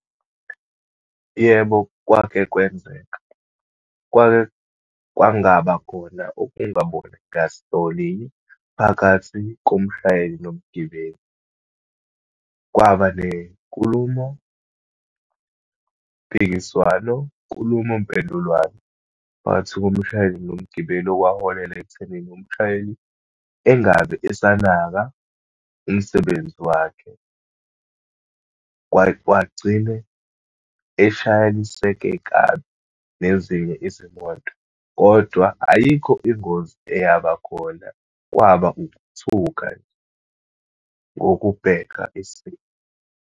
Yebo, kwake kwenzeka, kwake kwangabakhona ukungaboni ngasolinye phakathi komshayeli nomgibeli. Kwaba nenkulumompikiswano, nkulumompendulwano phakathi komshayeli nomgibeli, okwaholela ekuthenini umshayeli engabe esanaka umsebenzi wakhe. Kwagcine eshayeliseke kabi nezinye izimoto. Kodwa ayikho ingozi eyabakhona, kwaba ukuthuka ngokubheka isimo.